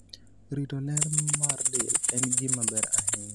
rito ler mar del en gima ber ahinya